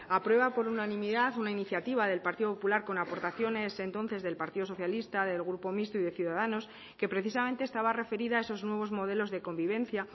aprueba por unanimidad una iniciativa del partido popular con aportaciones entonces del partido socialista del grupo mixto y de ciudadanos que precisamente estaba referida a esos nuevos modelos de convivencia